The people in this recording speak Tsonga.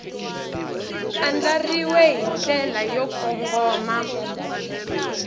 andlariwile hi ndlela yo kongoma